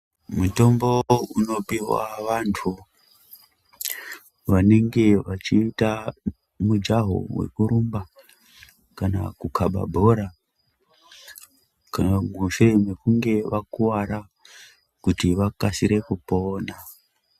Mitombo unopiwa vantu vanemge vachiita mujawo wekurumba kana kubaka bhora mushure mekunge vakuvara kuti vakasire kupona.